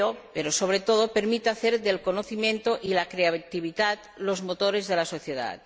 Pero, sobre todo, permite hacer del conocimiento y de la creatividad los motores de la sociedad.